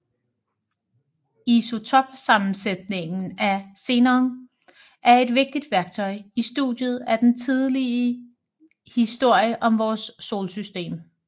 Isotopsammensætningen af xenon er et vigtigt værktøj i studiet af den tidlige historie om vores solsystem